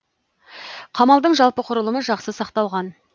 қамалдың жалпы құрылымы жақсы сақталған